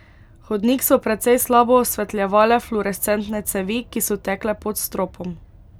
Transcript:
Hodnik so precej slabo osvetljevale fluorescentne cevi, ki so tekle pod stropom.